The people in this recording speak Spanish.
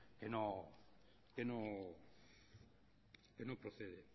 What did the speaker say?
que no procede